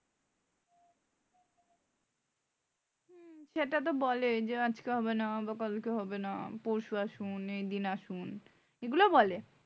সেটাতো বলেই যে আজকে হবে না বা কালকে হবে না পরশু আসুন এই দিন আসুন এগুলো বলে